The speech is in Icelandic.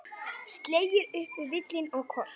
Keyrir upp völlinn og skorar.